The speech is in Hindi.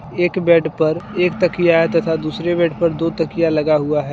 एक बेड पर एक तकिया तथा दूसरे बेड पर दो तकिया लगा हुआ है।